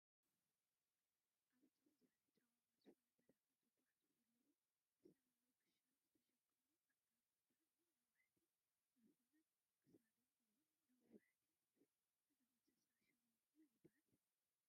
ኣብ ፀው ዝበለ ጨዋማ ዝኮነ በረካ ዝጉዓዙ ዘለው ብሰማያዊ ክሻ ዝተሸፈኑ ኣእጋሮም ብጣዕሚ ነዋሕቲ ዝኮኑን ክሳዶም እውን ነዋሕቲ እዮም። እዞም እንስሳ ሽሞም መን ይብሃሉ?